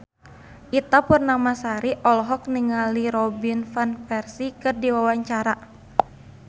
Ita Purnamasari olohok ningali Robin Van Persie keur diwawancara